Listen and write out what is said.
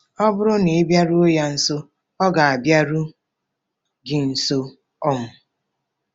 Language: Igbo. Ọ bụrụ na ị bịaruo ya nso, ọ ga-abịaru gị nso. um